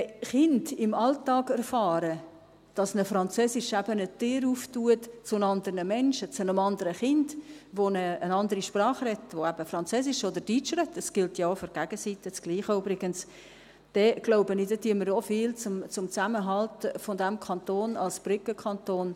Wenn Kinder im Alltag erfahren, dass ihnen Französisch eben eine Tür öffnet zu anderen Menschen, zu einem anderen Kind, das eine andere Sprache spricht, das eben Französisch oder Deutsch spricht – für die Gegenseite gilt ja übrigens dasselbe –, dann tun wir, glaube ich, auch viel für den Zusammenhalt dieses Kantons als Brückenkanton.